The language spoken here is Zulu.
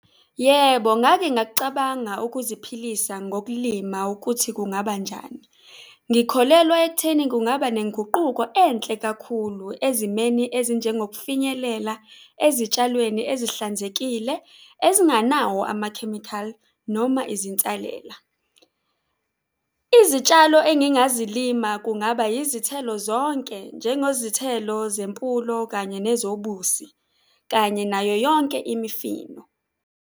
Yebo, ngake ngakucabanga ukuziphilisa ngokulima ukuthi kungaba njani. Ngikholelwa ekutheni kungaba nenguquko enhle kakhulu ezimeni ezinjengokufinyelela ezitshalweni esihlanzekile, ezinganawo amakhemikhali noma izinsalela. Izitshalo engingazilima kungaba izithelo zonke njengezithelo zempulo, kanye nezobusi kanye nayo yonke imifino.